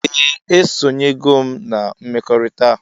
Ee esonyego m na mmekọrita.